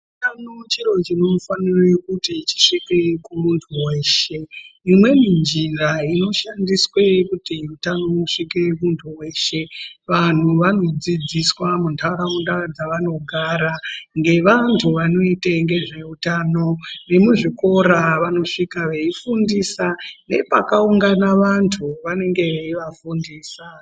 Utano chiro chinofanire kuti chisvike kumundu weshe imweni njira inoshandiswe kuti utano usvike kumundu weshe, wanhu wanodzidziswa mundaraunda dzawanogara ngewandu wanoite nezveutano, wemuzvikora wanosvika weifundisa nepakaungana wandu wanenge veiafundisa.